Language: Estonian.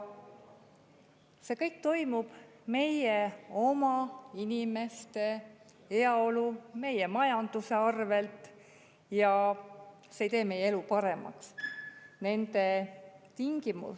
See kõik toimub meie oma inimeste heaolu, meie majanduse arvel, ja see ei tee meie elu paremaks.